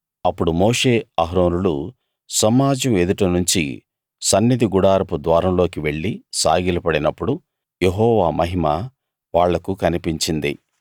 అప్పుడు మోషే అహరోనులు సమాజం ఎదుట నుంచి సన్నిధి గుడారపు ద్వారం లోకి వెళ్లి సాగిలపడినప్పుడు యెహోవా మహిమ వాళ్లకు కనిపించింది